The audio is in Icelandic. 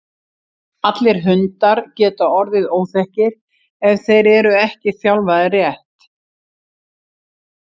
Allir hundar geta orðið óþekkir ef þeir eru ekki þjálfaðir rétt.